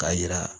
K'a yira